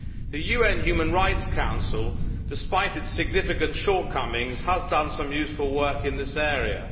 The UN Human Rights Council, despite its significant shortcomings, has done some useful work in this area.